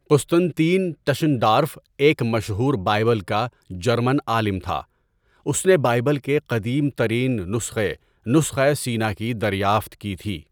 Constantin Tischendorf ایک مشہور Bible کا جرمن عالم تھا اس نے بائبل کے قدیم ترین نسخے نسخۂ سینا کی دریافت کی تھی.